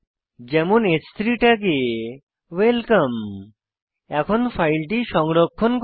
যেমন হ্3 ট্যাগে ওয়েলকাম এখন ফাইলটি সংরক্ষণ করি